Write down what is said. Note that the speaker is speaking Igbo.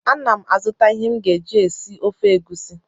Ana m azụta ihe m ga-eji esi ofe egusi